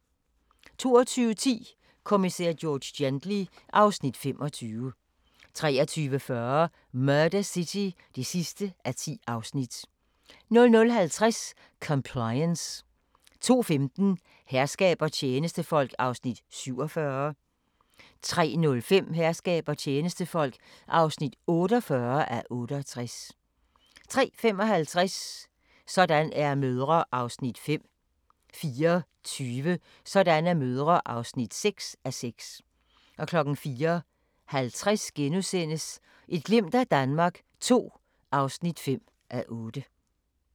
22:10: Kommissær George Gently (Afs. 25) 23:40: Murder City (10:10) 00:50: Compliance 02:15: Herskab og tjenestefolk (47:68) 03:05: Herskab og tjenestefolk (48:68) 03:55: Sådan er mødre (5:6) 04:20: Sådan er mødre (6:6) 04:50: Et glimt af Danmark II (5:8)*